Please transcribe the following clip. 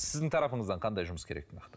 сіздің тарапыңыздан қандай жұмыс керек нақты